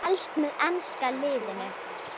Helst með enska liðinu.